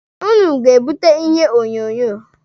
Ụnụ ga-ebute ihe onyonyo.